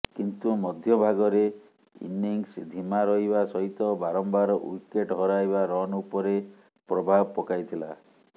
କିନ୍ତୁ ମଧ୍ୟଭାଗରେ ଇନିଂସ୍ ଧୀମା ରହିବା ସହିତ ବାରମ୍ବାର ୱିକେଟ୍ ହରାଇବା ରନ୍ ଉପରେ ପ୍ରଭାବ ପକାଇଥିଲା